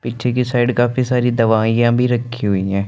पीछे की साइड काफी सारी दवाईया भी रखी हुई हैं।